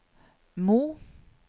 Mo